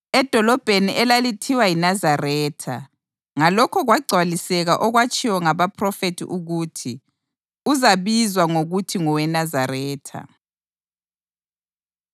edolobheni elalithiwa yiNazaretha. Ngalokho kwagcwaliseka okwatshiwo ngabaphrofethi ukuthi: Uzabizwa ngokuthi ngoweNazaretha.